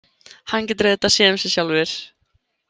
Hann getur auðvitað séð um sig sjálfur.